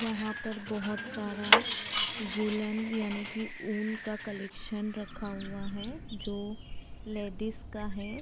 यहाँ पर बहोत सारा वूलन यानि की ऊन का कलेक्शन रखा हुवा है जो लैडीज का है।